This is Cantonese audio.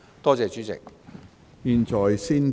多謝主席。